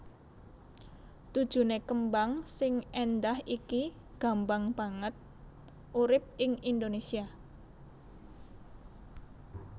Tujuné kembang sing éndah iki gambang banget urip ing Indonésia